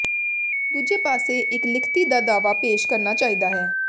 ਦੂਜੇ ਪਾਸੇ ਇਕ ਲਿਖਤੀ ਦਾ ਦਾਅਵਾ ਪੇਸ਼ ਕਰਨਾ ਚਾਹੀਦਾ ਹੈ